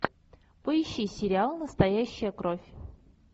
поищи сериал настоящая кровь